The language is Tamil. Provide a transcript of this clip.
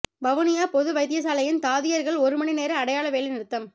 வவுனியா பொது வைத்தியசாலையின் தாதியர்கள் ஒரு மணி நேர அடையாள வேலை நிறுத்தம்